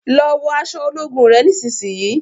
lọ wọ aṣọ ológun rẹ nísìsiyìí!